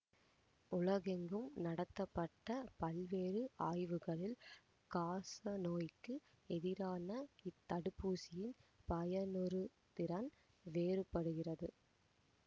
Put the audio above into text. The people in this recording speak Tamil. உலகெங்கும் நடத்தப்பட்ட பல்வேறு ஆய்வுகளில் காசநோய்க்கு எதிரான இத்தடுப்பூசியின் பயனுறுதிறன் வேறுபடுகிறது